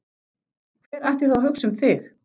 Hver ætti þá að hugsa um þig?